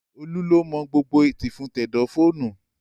Olú ló mọ gbogbo tìfun tẹ̀dọ̀ fóònù